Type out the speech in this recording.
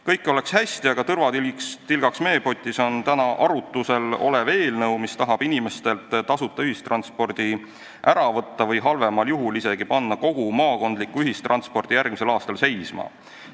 Kõik oleks hästi, aga tõrvatilgaks meepotis on täna arutusel olev eelnõu, mis tahab inimestelt tasuta ühistranspordi ära võtta või halvemal juhul isegi kogu maakondliku ühistranspordi järgmisel aastal seisma panna.